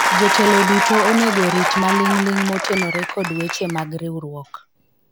jotelo duto onego orit maling'ling motenore kod weche mag riwruok